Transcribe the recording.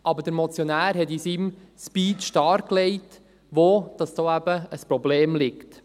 Aber der Motionär hat in seinem Speech dargelegt, wo hier das Problem liegt.